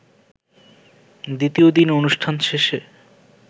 দ্বিতীয় দিন অনুষ্ঠান শেষে